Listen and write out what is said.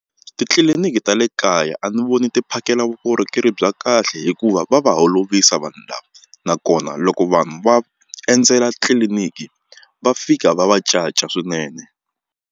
Titliliniki ta le kaya a ni voni ti phakela vukorhokeri bya kahle hikuva va va holovisa vanhu lava nakona loko vanhu va endzela tliliniki va fika va va caca swinene.